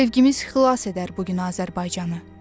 Sevgimiz xilas edər bu gün Azərbaycanı.